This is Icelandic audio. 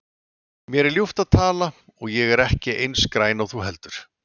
Mér er ljúft að tala og ég er ekki eins græn og þú heldur.